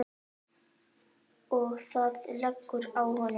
Og þú lentir á honum?